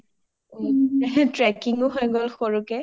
trekking ও হয় গ’ল এটা সৰুকে